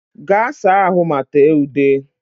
Gaa saa ahụ ma tee ude!